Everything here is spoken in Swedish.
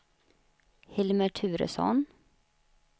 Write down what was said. Hilmer Turesson